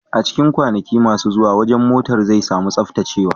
A cikin kwanaki masu zuwa, wajen motar zai sami tsaftacewa.